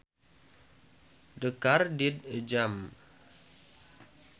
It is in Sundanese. The car did a jump